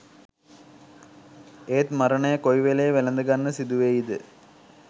එත් මරණය කොයි වෙලේ වැළඳ ගන්න සිදුවෙයිද